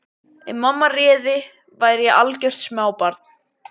Ef mamma réði væri ég algjört smábarn.